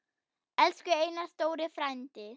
Elsku Einar stóri frændi.